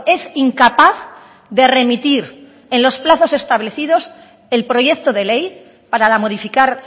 es incapaz de remitir en los plazos establecidos el proyecto de ley para modificar